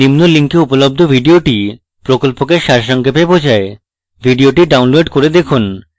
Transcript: নিম্নলিখিত link উপলব্ধ video প্রকল্পকে সারসংক্ষেপে বোঝায় video download করে দেখুন